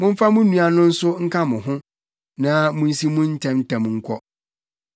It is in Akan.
Momfa mo nua no nso nka mo ho, na munsi mu ntɛmntɛm nkɔ.